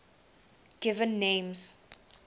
given names